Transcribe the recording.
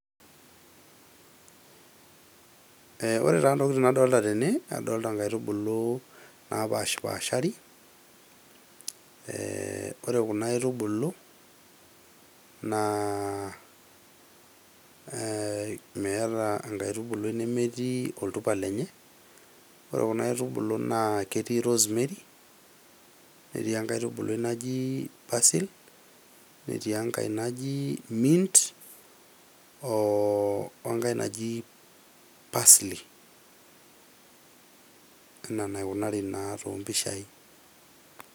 Ee ore taa ntokitin nadolta tene adolta nkaitubulu napashpashari ee ore kuna aitubulu ee meeta enkaitubului nemetii oltupa lenye. Ore kuna aitubulu ketii rosemary, netii enkae aitubului naji persil , netii enkae naji mint oo enkae naji pasli enaa enaikunari naa too mpishai.